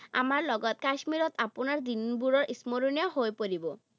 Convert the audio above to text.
আমাৰ লগত কাশ্মীৰত আপোনাৰ দিনবোৰো স্মৰণীয় হৈ পৰিব।